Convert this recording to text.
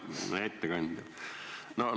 Hea ettekandja!